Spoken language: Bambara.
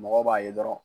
Mɔgɔ b'a ye dɔrɔn